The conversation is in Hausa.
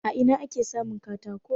A ina ake samun katako?